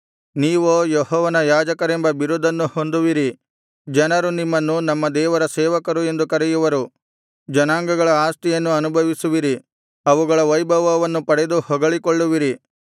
ನೀವೋ ಯೆಹೋವನ ಯಾಜಕರೆಂಬ ಬಿರುದನ್ನು ಹೊಂದುವಿರಿ ಜನರು ನಿಮ್ಮನ್ನು ನಮ್ಮ ದೇವರ ಸೇವಕರು ಎಂದು ಕರೆಯುವರು ಜನಾಂಗಗಳ ಆಸ್ತಿಯನ್ನು ಅನುಭವಿಸುವಿರಿ ಅವುಗಳ ವೈಭವವನ್ನು ಪಡೆದು ಹೊಗಳಿಕೊಳ್ಳುವಿರಿ